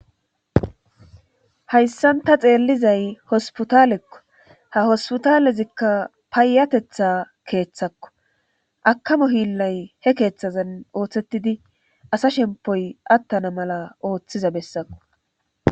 hayssan ta xeellizay hospitaalekko ha hospitaalezikka paayatetha keeththakko akamo hiillay he keeththazan ooththettidi asa shempoy attana mala ooththiza bessakko